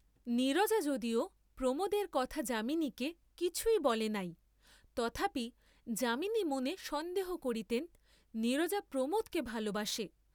নীরজা যদিও প্রমোদের কথা যামিনীকে কিছুই বলে নাই, তথাপি যামিনী মনে সন্দেহ করিতেন নীরজা প্রমোদকে ভালবাসে।